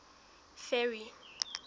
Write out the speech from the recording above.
ferry